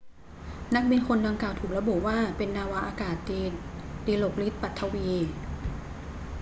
นักบินคนดังกล่าวถูกระบุว่าเป็นนาวาอากาศตรีดิลกฤทธิ์ ปัถวี